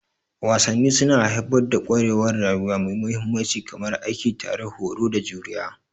Wasanni suna haifar da ƙwarewar rayuwa mai mahimmanci kamar aiki tare, horo, da juriya.